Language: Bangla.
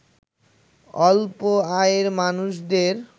স্বল্প আয়ের মানুষদের